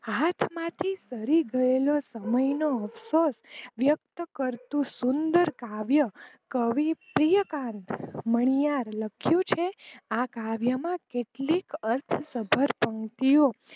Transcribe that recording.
હાથમાંથી સરી ગયેલો સમય મેં વ્યકટ કરતું સુંદર કાવ્ય કવિ પ્રિયકાંત મણીયાર લખ્યું છે આ કાવ્ય માં કેટલી અર્થક્ષબર પંક્તિઓ